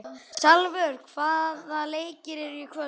Salvör, hvaða leikir eru í kvöld?